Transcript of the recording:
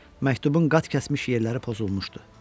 Məktubun qat kəsmiş yerləri pozulmuşdu.